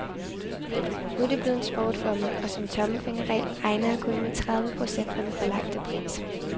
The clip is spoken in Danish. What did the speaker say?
Nu er det blevet en sport for mig, og som tommelfingerregel regner jeg kun med tredive procent af den forlangte pris.